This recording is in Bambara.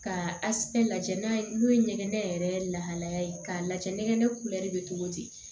Ka lajɛ n'a ye n'o ye ɲɛgɛn yɛrɛ lahalaya ye k'a lajɛ nɛgɛ kulɛri bɛ cogo di